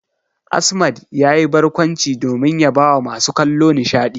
Asmad yayi barkwanci domin ya bawa masu kallo nishadi.